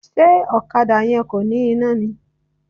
Ṣé ọ̀kadà yẹn kò ní iná ni?